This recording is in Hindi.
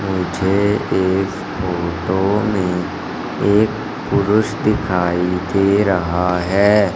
मुझे इस फोटो में एक पुरुष दिखाई दे रहा है।